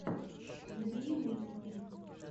набери мультики